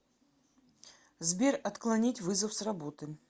сбер отклонить вызов с работы